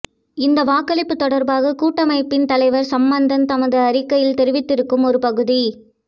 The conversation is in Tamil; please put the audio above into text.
இந்த வாக்களிப்பு தொடர்பாக கூட்டமைப்பின் தலைவர் சம்பந்தன் தமது அறிக்கையில் தெரிவித்திருக்கும் ஒரு பகுதி